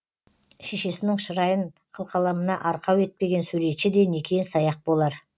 шешесінің шырайын қылқаламына арқау етпеген суретші де некен саяқ болар